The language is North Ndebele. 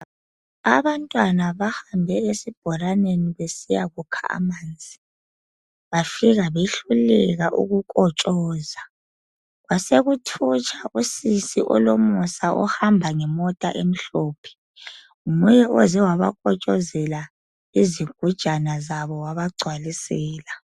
Abantwana bahambe esibholaneni besiyakukha amanzi, bafika behluleka ukukotshoza. Kwasekuthutsha usisi olomusa ohamba ngemota emhlophe, nguye ozewabakotshozela izigujana zabo wabagcwalisela.